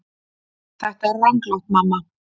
Þetta er ranglátt mamma.